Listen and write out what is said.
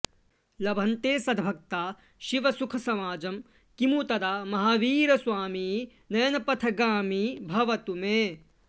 लभन्ते सद्भक्ता शिवसुख समाजं किमुतदा महावीरस्वामी नयनपथगामी भवतु मे